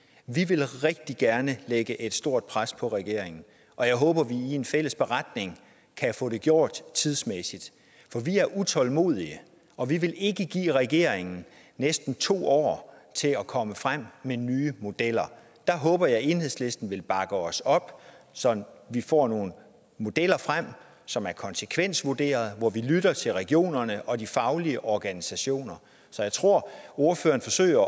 vi vil rigtig gerne lægge et stort pres på regeringen og jeg håber at vi i en fælles beretning kan få det gjort tidsmæssigt for vi er utålmodige og vi vil ikke give regeringen næsten to år til at komme frem med nye modeller der håber jeg at enhedslisten vil bakke os op så vi får nogle modeller frem som er konsekvensvurderet hvor vi lytter til regionerne og de faglige organisationer så jeg tror at ordføreren forsøger